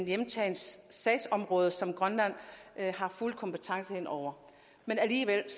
hjemtaget sagsområde som grønland har fuld kompetence over men alligevel